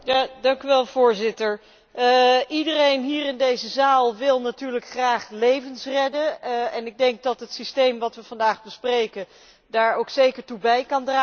Iedereen hier in deze zaal wil natuurlijk graag levens redden en ik denk dat het systeem dat wij vandaag bespreken daar ook zeker toe kan bijdragen, maar ik heb toch wel twee bedenkingen.